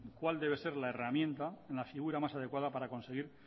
cuál debe ser la herramienta la figura más adecuada para conseguir